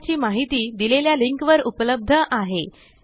प्रकल्पाची माहिती दिलेल्या लिंकवर उपलब्ध आहे